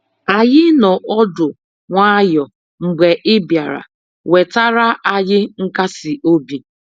Anyị noọ ọdụ nwayọ mgbe ị bịara, wetara anyị nkasiobi.